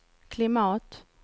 klimat